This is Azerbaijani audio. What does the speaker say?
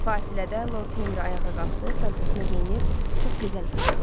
Fasildə Lord Henri ayağa qalxdı, paltosunu geyinib çox gözəl qızdı.